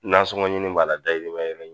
Nasɔŋɔɲini b'a la, dahirimɛ